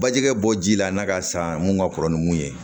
Bajɛgɛ bɔ ji la n'a ka san mun ka kɔrɔ ni mun ye